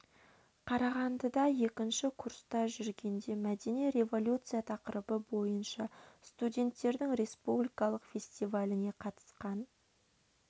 қарағандыда екінші курста жүргенде мәдени революция тақырыбы бойынша студенттердің респуликалық фестиваліне қатысқан